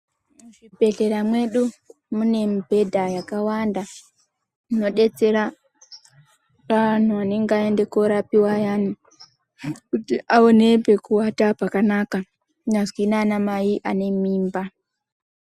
Muzvibhedhlera mwedu mune mibhedha yakawanda inodetsera anhu anenge aenda korapiwa ayana kuti aone pekuwata zvakanaka kunyazvi nanamai anenge anemimba.